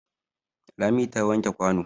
Lami ta wanke kwano.